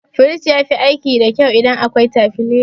Firij yafi aiki da kyau idan akwai tabileza.